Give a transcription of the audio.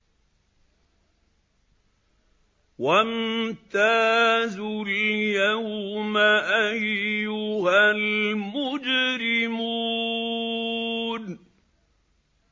وَامْتَازُوا الْيَوْمَ أَيُّهَا الْمُجْرِمُونَ